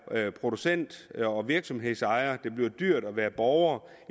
producent og virksomhedsejer og det bliver dyrt at være borger